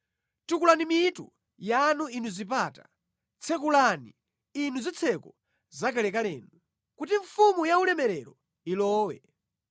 Tukulani mitu yanu inu zipata; tsekukani, inu zitseko zakalekalenu, kuti Mfumu yaulemerero ilowe.